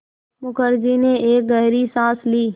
मुखर्जी ने एक गहरी साँस ली